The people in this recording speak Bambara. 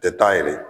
Tɛ taa yɛrɛ ye